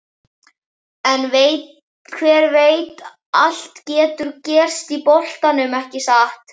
En hver veit allt getur gerst í boltanum, ekki satt?